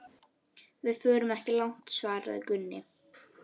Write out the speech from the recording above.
Þura væru alltaf að keppa um hvor gæti hrotið hærra.